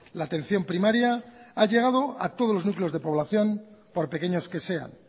la atención primaria ha llegado a todos los núcleos de población por pequeños que sean